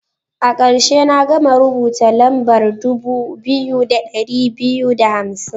A karshe, na gama rubuta lambar dubu biyu da ɗari biyu da hamsin.